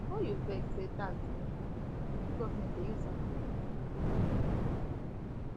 before you vex say tax dey high ask wetin government dey use am um do